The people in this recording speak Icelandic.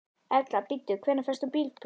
Erla: Bíddu, hvenær fékkst þú bílpróf?